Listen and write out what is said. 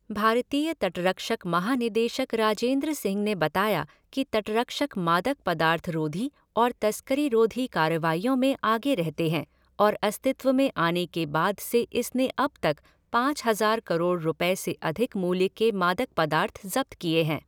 भारतीय तटरक्षक महानिदेशक राजेन्द्र सिंह ने बताया कि तटरक्षक मादक पदार्थ रोधी और तस्करी रोधी कार्रवाइयों में आगे रहते हैं और अस्तित्व में आने के बाद से इसने अब तक पाँच हज़ार करोड़ रुपये से अधिक मूल्य के मादक पदार्थ ज़ब्त किए हैं।